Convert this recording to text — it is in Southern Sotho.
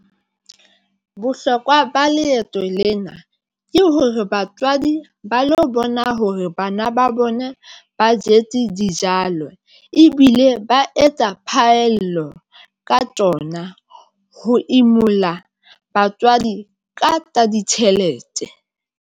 Bohlokwa ba leeto lena ke hore batswadi ba lo bona hore bana ba bona ba jetse dijalo, ebile ba etsa phaello ka tsona ho imulla batswadi ka tsa ditjhelete.